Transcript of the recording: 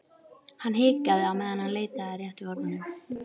Hann hikaði á meðan hann leitaði að réttu orðunum.